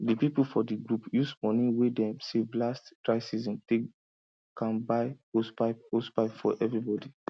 the people for the group use money wey dem save last dry season take am buy hosepipe hosepipe for everybody